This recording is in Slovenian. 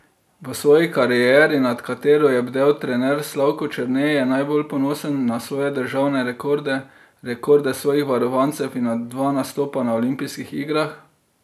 V svoji karieri, nad katero je bdel trener Slavko Črne, je najbolj ponosen na svoje državne rekorde, rekorde svojih varovancev in na dva nastopa na olimpijskih igrah.